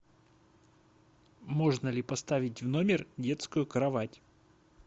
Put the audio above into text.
можно ли поставить в номер детскую кровать